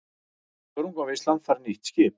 Þörungavinnslan fær nýtt skip